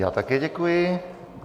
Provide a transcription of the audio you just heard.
Já také děkuji.